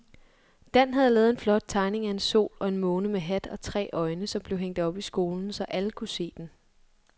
Dan havde lavet en flot tegning af en sol og en måne med hat og tre øjne, som blev hængt op i skolen, så alle kunne se den.